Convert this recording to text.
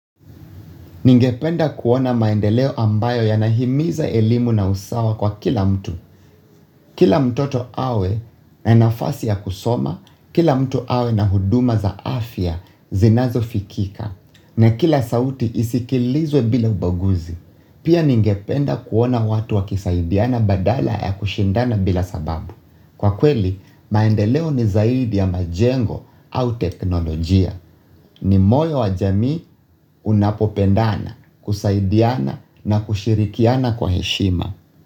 Ningependa kuona maendeleo ambayo yanahimiza elimu na usawa kwa kila mtu. Kila mtoto awe na nafasi ya kusoma, kila mtu awe na huduma za afya zinazofikika, na kila sauti isikilizwe bila ubaguzi. Pia ningependa kuona watu wakisaidiana badala ya kushindana bila sababu. Kwa kweli, maendeleo ni zaidi ya majengo au teknolojia. Ni moyo wa jamii unapopendana, kusaidiana na kushirikiana kwa heshima.